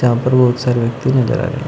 यहां पर बहुत सारे व्यक्ति नजर आ रहे हैं।